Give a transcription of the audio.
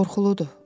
Qorxuludur.